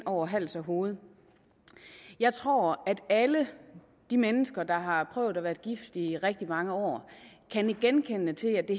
over hals og hoved jeg tror at alle de mennesker der har prøvet at være gift i rigtig mange år kan nikke genkendende til at det